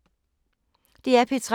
DR P3